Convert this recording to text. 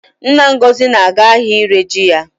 Nna Ngozi na-aga ahịa ire ji ya